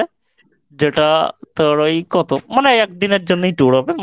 যেটা তোর ওই কত মানে একদিনের জন্যই Tour হবে